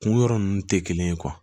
Kun yɔrɔ ninnu tɛ kelen ye